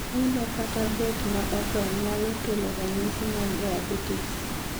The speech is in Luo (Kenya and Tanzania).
ilo kata bet ma odho nyalo kelo ranyisi mar diabetes